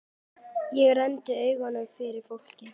Ég renndi augunum yfir fólkið.